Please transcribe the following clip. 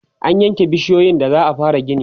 an yanke bishiyoyin da za'a fara gini